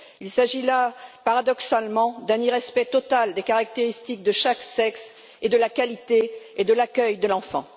Il s'agit là, paradoxalement, d'un irrespect total des caractéristiques de chaque sexe, de la qualité et de l'accueil de l'enfant.